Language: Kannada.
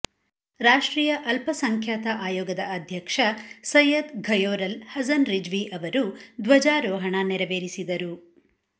ರಾಷ್ಟ್ರೀಯ ಅಲ್ಪಸಂಖ್ಯಾತ ಆಯೋಗದ ಅಧ್ಯಕ್ಷ ಸೈಯದ್ ಘಯೋರಲ್ ಹಸನ್ ರಿಜ್ವಿ ಅವರು ಧ್ವಜಾರೋಹಣ ನೆರವೇರಿಸಿದರು